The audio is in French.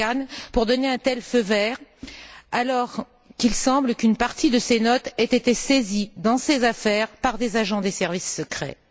Chikane pour donner un tel feu vert, alors qu'il semble qu'une partie de ses notes ait été saisie, dans ses affaires, par des agents des services secrets?